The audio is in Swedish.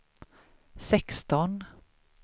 sexton